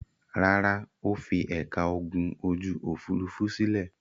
Rárá, ó fi ẹ̀ka ogun ojú-òfurufú sílẹ̀.